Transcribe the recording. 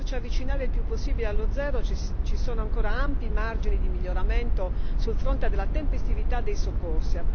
Per poterci avvicinare il più possibile allo zero ci sono ancora ampi margini di miglioramento sul fronte della tempestività dei soccorsi.